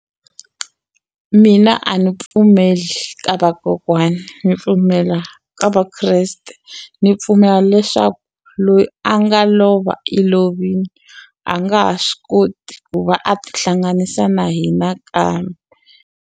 Mina a ni pfumeli ka vakokwani ni pfumela ka Vakreste ni pfumela leswaku loyi a nga lova i lovini a nga ha swi koti ku va a tihlanganisa na hina kambe.